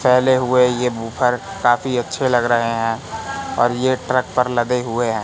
पहले हुए है ये वूफर काफी अच्छे लग रहे हैं और ये ट्रक पर लगे हुए हैं।